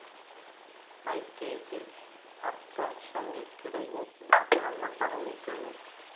P കേസില്‍ അര്‍ത്ഥശങ്കയ്ക്കിടയില്ലാത്തവണ്ണം പറഞ്ഞിട്ടുണ്ട്